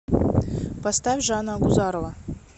поставь жанна агузарова